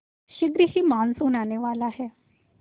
शीघ्र ही मानसून आने वाला है